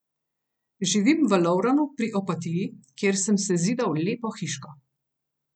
Živim v Lovranu pri Opatiji, kjer sem sezidal lepo hiško.